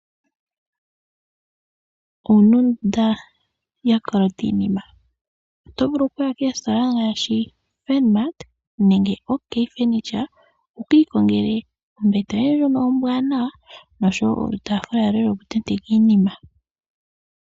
Owuna ondunda ya kolota iinima? Oto vulu okuya koositola ngaashi Furnmart nenge OK Furniture, wuka ikongele ombete yoye ndjono ombwanawa osho wo olu taafula loye loku tenteka iinima.